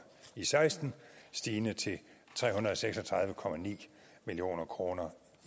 seksten stigende til tre hundrede og seks og tredive million kroner